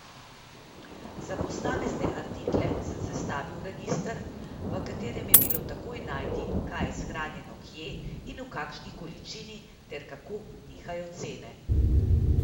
Za posamezne artikle sem sestavil register, v katerem je bilo takoj najti, kaj je shranjeno kje in v kakšni količini ter kako nihajo cene.